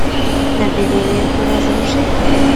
набери ленту разрушитель